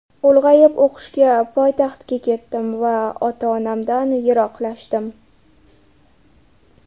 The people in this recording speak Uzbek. Ulg‘ayib o‘qishga poytaxtga ketdim va ota-onamdan yiroqlashdim.